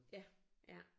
Ja ja